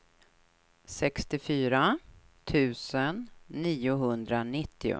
sextiofyra tusen niohundranittio